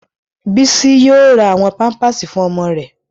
Bísí yóò ra àwọn pámpásì fún ọmọ rẹ̀